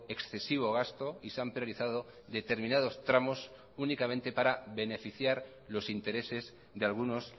excesivo gasto y se han priorizado determinados tramos únicamente para beneficiar los intereses de algunos